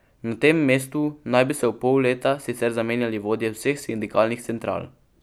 Na tem mestu naj bi se v pol leta sicer zamenjali vodje vseh sindikalnih central.